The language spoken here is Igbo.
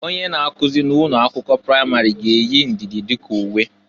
Onye na-akụzị na ụnọ akwụkwọ pramarị ga-eyi ndịdị dịka uwe.